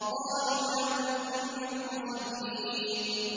قَالُوا لَمْ نَكُ مِنَ الْمُصَلِّينَ